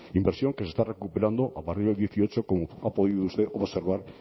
inversión que se está recuperando a partir del dieciocho como ha podido usted observar